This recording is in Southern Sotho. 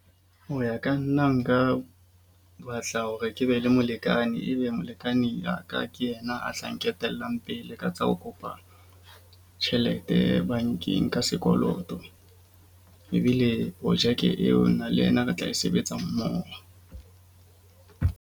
Ho ya ka nna nka batla hore ke be le molekane. Ebe molekane wa ka ke yena a tlang nketellang pele ka tsa ho kopa tjhelete bankeng ka sekoloto. Ebile projeke eo nna le yena re tla e sebetsa mmoho.